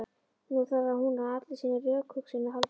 Nú þarf hún á allri sinni rökhugsun að halda.